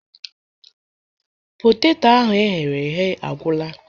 Poteto ahụ eghere eghe agwula